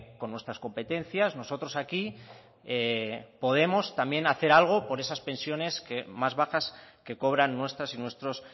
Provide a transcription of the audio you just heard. con nuestras competencias nosotros aquí podemos también hacer algo por esas pensiones más bajas que cobran nuestras y nuestros